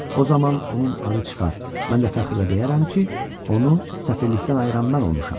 O zaman onun adı çıxar, mən də fəxrlə deyərəm ki, onu səfirlikdən ayıran mən olmuşam.